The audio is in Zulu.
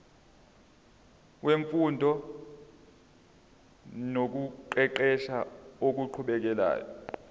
wemfundo nokuqeqesha okuqhubekayo